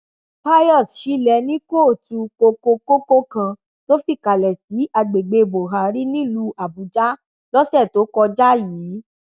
pius ṣílẹ ní kóòtù kokokókó kan tó fìkàlẹ sí agbègbè bọhàrì nílùú àbújá lọsẹ tó kọjá yìí